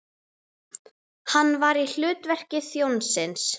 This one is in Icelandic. Hann var í hlutverki þjónsins.